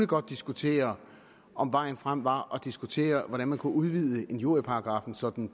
godt diskutere om vejen frem var diskutere hvordan man kunne udvide injurieparagraffen sådan